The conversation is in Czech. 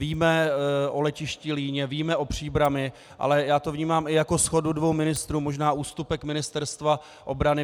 Víme o letišti Líně, víme o Příbrami, ale já to vnímám i jako shodu dvou ministrů, možná ústupek Ministerstva obrany.